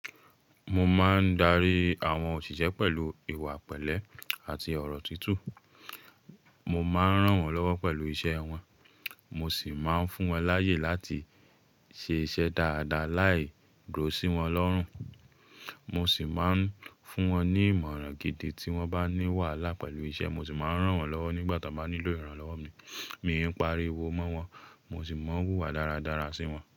Mo máa ń darí àwọn òṣìṣẹ́ pẹ̀lú ìwà pẹ̀lẹ́ àti ọ̀rọ̀ tutù. Mo máa ń ràn wọ́n lọ́wọ́ pẹ̀lú iṣẹ́ wọn, mo sì máa ń fún wọn láyè láti ṣe iṣẹ́ dáadáa láì dúró sí wọn lọ́rùn. Mo sì máa ń fún wọn ní ìmọ̀ràn gidi tí wọ́n bá ní wàhálà pẹ̀lú iṣẹ́, mo ṣì máa ń ràn wọ́n lọ́wọ́ nígbà tí wọ́n bá nílò ìrànlọ́wọ́ mi. Mi ń pariwo mọ́ wọn, mo sì máa ń wùwà dáradára sí wọn.